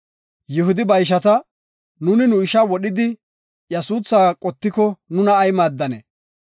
Yihudi ba ishata, “Nuuni nu isha wodhidi, iya suuthaa qottiko nuna ay maaddanee?